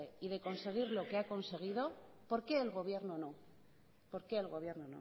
y de conseguir lo que ha conseguido por qué el gobierno no por qué el gobierno